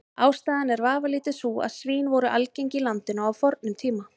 Ástæðan er vafalítið sú að svín voru algeng í landinu á fornum tíma.